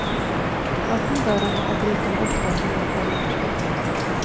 Öppna dörrarna och bryt dem uppåt med hjälp av järnspettet.